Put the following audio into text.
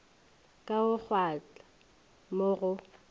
ka go kgwatha mo go